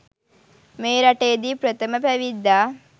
මේ රටේ දී ප්‍රථම පැවිද්දා